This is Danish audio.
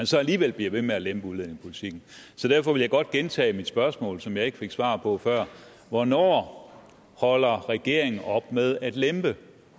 så alligevel bliver ved med at lempe udlændingepolitikken så derfor vil jeg godt gentage mit spørgsmål som jeg ikke fik svar på før hvornår holder regeringen op med at lempe